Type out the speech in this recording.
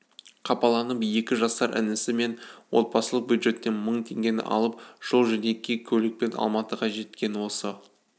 қапаланып екі жасар інісі мен отбасылық бюджеттен мың теңгені алып жол-жөнекей көлікпен алматыға жеткен осы